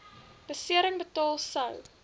besering betaal sou